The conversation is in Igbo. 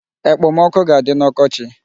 Ekpomọkụ ga-adị n'ọkọchị.